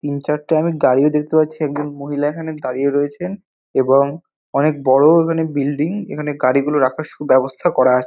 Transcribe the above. তিন চারটে আমি গাড়িও দেখতে পাচ্ছি। একজন মহিলা এখানে দাঁড়িয়ে রয়েছেন এবং অনেক বড়ো এখানে বিল্ডিং । এখানে গাড়িগুলো রাখার সুব্যবস্থা করা আ--